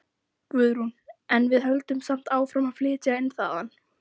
Guðrún: En við höldum samt áfram að flytja inn þaðan?